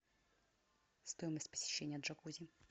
стоимость посещения джакузи